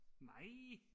nej